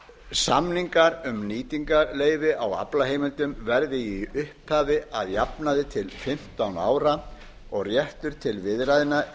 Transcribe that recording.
samningar um nýtingarleyfi á aflaheimildum verði í upphafi að jafnaði til fimmtán ára og réttur til viðræðna er